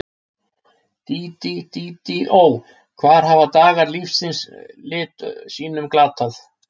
Dídí, Dídí, ó, hvar hafa dagar lífs þíns lit sínum glatað?